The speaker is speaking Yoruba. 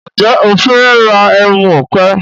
Njé o fè rà ẹmu òpè?